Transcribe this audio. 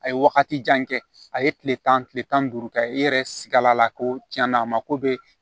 A ye wagati jan kɛ a ye kile tan kile tan ni duuru kɛ i yɛrɛ sikala la ko tiɲɛna a ma ko bɛ